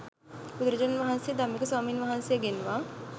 බුදුරජාණන් වහන්සේ ධම්මික ස්වාමින් වහන්සේ ගෙන්වා